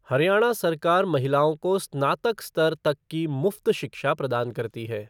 हरियाणा सरकार महिलाओं को स्नातक स्तर तक की मुफ़्त शिक्षा प्रदान करती है।